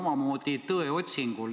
Ma olen omamoodi tõeotsinguil.